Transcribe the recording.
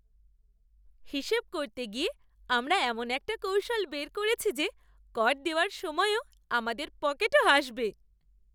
হিসাব করতে গিয়ে আমরা এমন একটা কৌশল বের করেছি যে কর দেওয়ার সময়ও আমাদের পকেটও হাসবে!